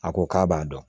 A ko k'a b'a dɔn